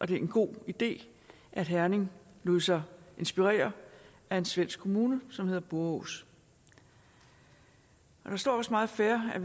det er en god idé at herning lod sig inspirere af en svensk kommune som hedder borås der står også meget fair at